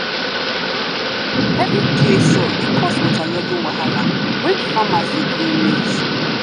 heavy clay soil dey cus water loggin wahala wen farmers dey grow maize